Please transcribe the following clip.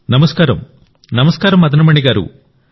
నమస్కారంనమస్కారం మదన్ మణి గారూ